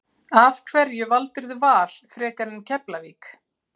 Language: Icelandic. Af hverju valdirðu Val frekar en Keflavík?